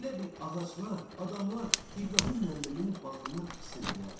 Elə bil ağaclar, adamlar İbrahim müəllimin bağrına tiksindilər.